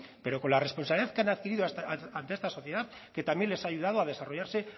pero con la responsabilidad que han adquirido ante esta sociedad que también les ha ayudado a desarrollarse